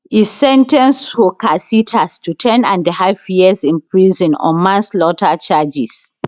e sen ten ce horcasitas to ten and a half years in prison on manslaughter charges